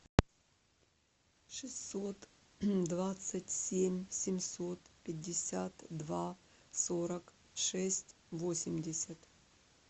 шестьсот двадцать семь семьсот пятьдесят два сорок шесть восемьдесят